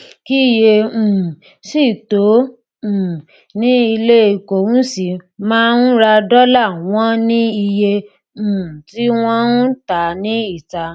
kíyè um sí tó um ni ilé ìkóhunsí máa ń ra dọlà wọn ní iye um tí wọn ń tà á níta